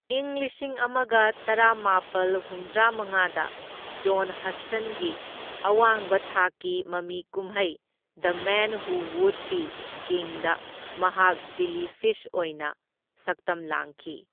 ꯏꯪ ꯂꯤꯁꯤꯡ ꯑꯃꯒ ꯇꯔꯥꯃꯥꯄꯜ ꯍꯨꯝꯗ꯭ꯔꯥꯃꯉꯥꯗ, ꯖꯣꯟ ꯍꯁꯇꯟꯒꯤ ꯑꯋꯥꯡꯕ ꯊꯥꯛꯀꯤ ꯃꯃꯤ ꯀꯨꯝꯍꯩ the man who would be ꯀꯤꯡꯗ, ꯃꯍꯥꯛ ꯕꯤꯂꯤ ꯐꯤꯁ ꯑꯣꯏꯅ ꯁꯛꯇꯝ ꯂꯥꯡꯈꯤ꯫